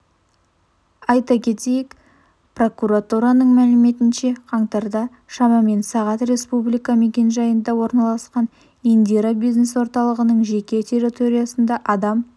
айта кетейік прокуратураның мәліметінше қаңтарда шамамен сағат республика мекенжайында орналасқан индира бизнес орталығының жеке территориясында адам